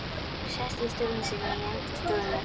Sest í stólinn sinn í enda stofunnar.